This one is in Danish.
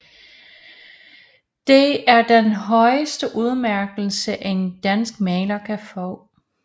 Det er den højeste udmærkelse en dansk maler kan få